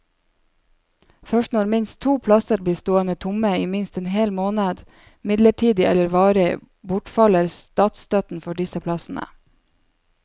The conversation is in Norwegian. Først når minst to plasser blir stående tomme i minst en hel måned, midlertidig eller varig, bortfaller statsstøtten for disse plassene.